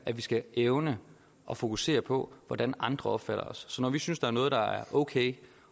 at vi skal evne at fokusere på hvordan andre opfatter os så når vi synes der er noget der er okay